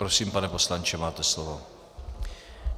Prosím, pane poslanče, máte slovo.